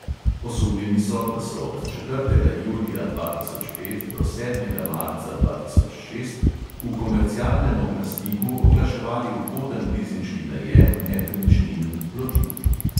Osumljeni so, da so od četrtega julija dva tisoč pet do sedmega marca dva tisoč šest v komercialnem oglasniku oglaševali ugoden lizinški najem nepremičnin in plovil.